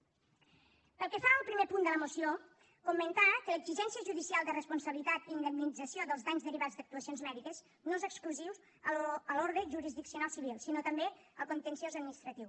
pel que fa al primer punt de la moció comentar que l’exigència judicial de responsabilitat i indemnització dels danys derivats d’actuacions mèdiques no és exclusiu de l’ordre jurisdiccional civil sinó també del contenciós administratiu